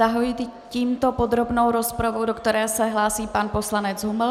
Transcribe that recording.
Zahajuji tímto podrobnou rozpravu, do které se hlásí pan poslanec Huml.